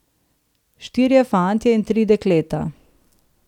Štirje fantje in tri dekleta.